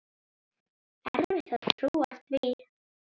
Erfitt að trúa því.